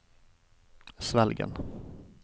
Svelgen